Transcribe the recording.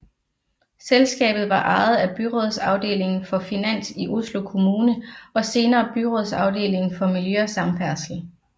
Selskabet var ejet af byrådsavdeling for finans i Oslo kommune og senere Byrådsavdeling for miljø og samferdsel